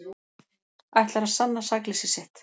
Ætlar að sanna sakleysi sitt